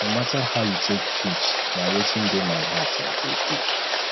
no mata how you take preach na wetin dey my heart i go do